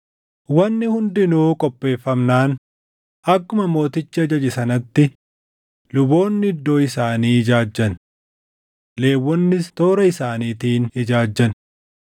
Wanni hundinuu qopheeffamnaan akkuma mootichi ajaje sanatti luboonni iddoo isaanii ijaajjan; Lewwonnis toora isaaniitiin ijaajjan.